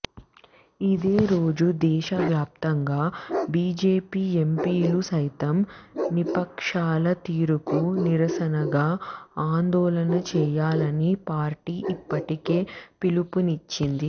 ఇదే రోజు దేశ వ్యాప్తంగా బీజేపీ ఎంపీలు సైతం విపక్షాల తీరుకు నిరసనగా ఆందోళన చేయాలని పార్టీ ఇప్పటికే పిలుపునిచ్చింది